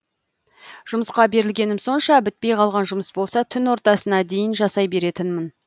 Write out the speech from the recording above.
жұмысқа берілгенім сонша бітпей қалған жұмыс болса түн ортасына дейін жасай беретінмін